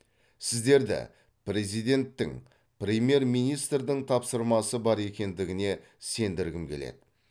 сіздерді президенттің премьер министрдің тапсырмасы бар екендігіне сендіргім келеді